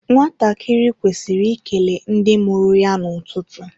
Nwatakịrị kwesịrị ikele ndị mụrụ ya n’ụtụtụ